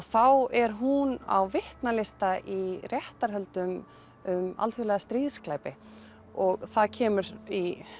þá er hún á í réttarhöldum um alþjóðlega stríðsglæpi og það kemur í